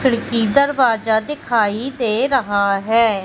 खिड़की दरवाजा दिखाई दे रहा है।